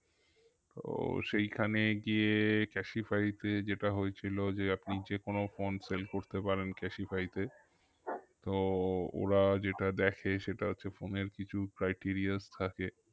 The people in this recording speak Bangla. তো সেইখানে গিয়ে ক্যাসিফাই তে যেটা হয়েছিল যে আপনি যেকোনো phone sell করতে পারেন ক্যাসিফাই তে তো ওরা যেটা দ্যাখে সেটা হচ্ছে phone এর কিছু craiterias থাকে